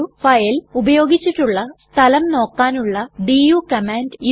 ഒരു ഫയൽ ഉപയോഗിച്ചിട്ടുള്ള സ്ഥലം നോക്കാനുള്ള ഡു കമാൻഡ്